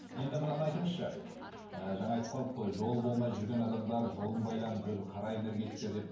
енді мынаны айтыңызшы ы жаңа айтып қалдық қой жолы болмай жүрген адамдар жолым байланып жүр қара энергетика деп